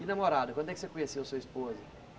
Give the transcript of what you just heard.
E namorada, quando é que você conheceu sua esposa?